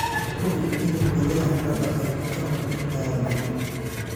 Hubi in midhaha la dhaqay ka hor intaadan cunin.